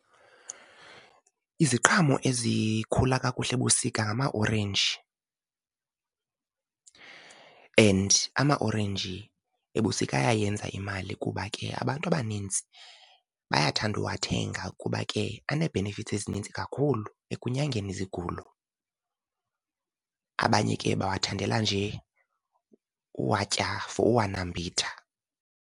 Iziqhamo ezikhula kakuhle ebusika ngamaorenji, and amaorenji ebusika ayayenza imali kuba ke abantu abanintsi bayathanda uwathenga kuba ke anee-benefits ezininzi kakhulu ekunyangeni izigulo. Abanye ke bawathandela nje uwatya for uwanambitha.